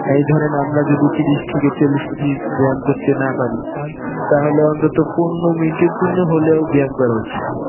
এই ধরেন আমরা যদি তিরিশ থেকে চল্লিশ মিনিট ব্যায়াম করতে না পারি তাহলে অন্তত পনেরো মিনিট এর জন্য হলেও ব্যায়াম করা উচিত.